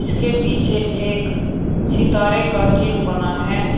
इसके पीछे एक सितारे का चिन्ह बना है।